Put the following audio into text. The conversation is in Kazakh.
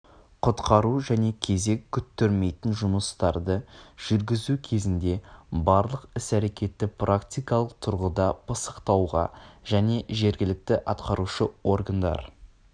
құтқару және кезек күттірмейтін жұмыстарды жүргізу кезінде барлық іс-әрекеттерді практикалық тұрғыда пысықтауға және жергілікті атқарушы органдар